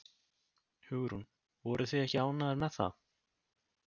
Hugrún: Voruð þið ekki ánægðar með það?